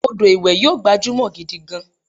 Àwọn ọdọ iwe yio gbajumọ gidi gan